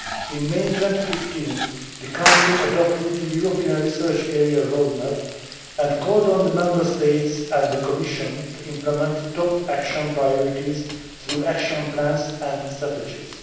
In May 2015, the Council adopted the European Research Area roadmap and called on the Member States and the Commission to implement top action priorities through action plans and strategies.